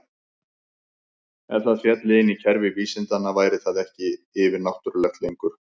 Ef það félli inn í kerfi vísindanna væri það ekki yfir-náttúrulegt lengur.